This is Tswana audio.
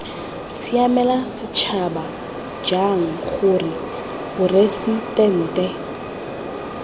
siamela setšhaba jang gore poresitente